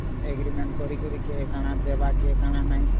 Agreement କରୀକିରି କିଏ କାନା ଦେବା କିଏ କାନା ନାଇଁ